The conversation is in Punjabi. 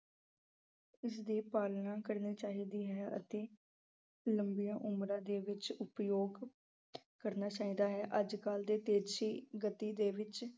ਇਸ ਦੀ ਪਾਲਣਾ ਕਰਨੀ ਚਾਹੀਦੀ ਹੈ ਅਤੇ ਲੰਬੀਆਂ ਉਮਰਾਂ ਦੇ ਵਿੱਚ ਉਪਯੋਗ ਕਰਨਾ ਚਾਹੀਦਾ ਹੈ ਅੱਜਕੱਲ ਦੀ ਤੇਜ਼ੀ ਗਤੀ ਦੇ ਵਿੱਚ